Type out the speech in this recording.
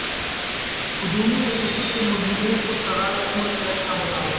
ہجومی تشدد کے ملزمین کو سزائے عمر قید کا مطالبہ